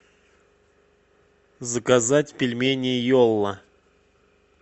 заказать пельмени йола